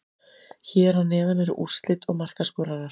Hér að neðan eru úrslit og markaskorarar.